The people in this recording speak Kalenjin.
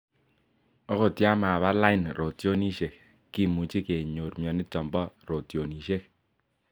ogot ya maba lain rotyonisieg kemuchi kenyorr mianiton bo rotyonisieg